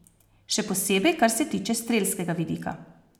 Še posebej kar se tiče strelskega vidika.